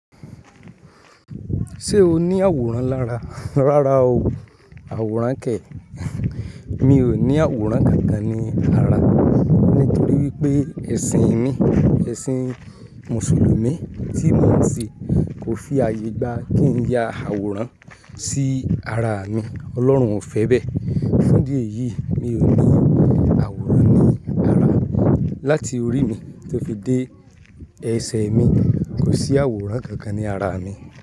Ṣé oni àwòrán lára, rárá ooo àwòrán kẹ̀. Mi ò ní àwòrán kankan ní ara, nítorí wípé ẹ̀sìn mi, ẹ̀sìn mùsùlùmí tí mò ń ṣe kò fi ààyè gba kí n ya àwòrán sí ara mi. Ọlọ́run ò fẹ́ bẹ́ẹ̀. Fún ìdí èyí, mi ò ní àwòrán ní ara. Láti orí mi tó fi dé ẹsẹ̀ mi, kò sí àwòrán kankan ní ara mi.